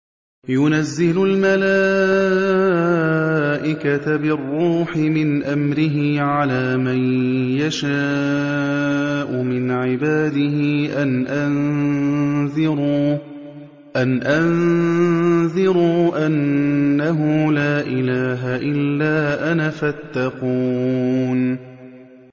يُنَزِّلُ الْمَلَائِكَةَ بِالرُّوحِ مِنْ أَمْرِهِ عَلَىٰ مَن يَشَاءُ مِنْ عِبَادِهِ أَنْ أَنذِرُوا أَنَّهُ لَا إِلَٰهَ إِلَّا أَنَا فَاتَّقُونِ